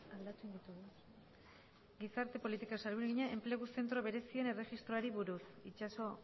enplegu zentro berezien erregistroari buruz itxaso